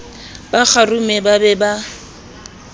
ba kgarume ba be ba